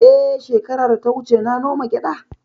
Eh, shekara da ta wuce na noma gyada